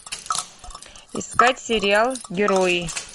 искать сериал герои